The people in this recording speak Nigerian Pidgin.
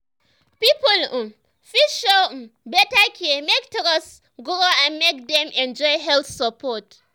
people um fit show um better care make trust um grow and make dem enjoy health support.